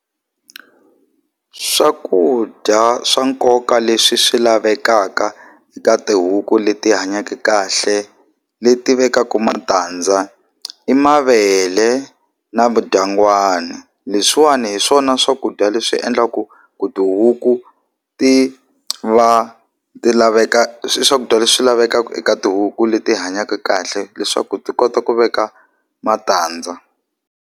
Swakudya swa nkoka leswi swi lavekaka eka tihuku leti hanyake kahle leti vekaka matandza i mavele na vudyangwani leswiwani hi swona swakudya leswi endlaku ku tihuku ti va ti laveka swakudya leswi lavekaka eka tihuku leti hanyaka kahle leswaku ti kota ku veka matandza.